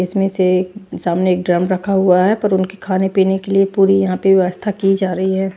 इसमें से सामने एक ड्रम रखा हुआ है पर उनके खाने पीने के लिए पूरी यहां पे व्यवस्था की जा रही है।